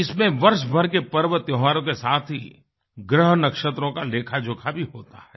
इसमें वर्ष भर के पर्व त्योहारों के साथ ही ग्रह नक्षत्रों का लेखाजोखा भी होता है